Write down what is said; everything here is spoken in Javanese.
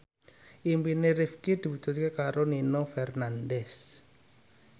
impine Rifqi diwujudke karo Nino Fernandez